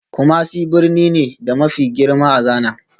Kumasi birni ne, da mafi girma a Ghana